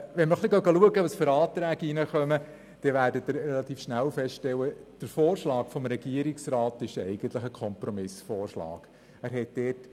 Wenn wir die eingegangenen Anträge betrachten, werden Sie relativ schnell feststellen, dass der Vorschlag des Regierungsrats eigentlich ein Kompromissvorschlag ist.